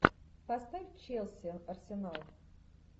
поставь челси арсенал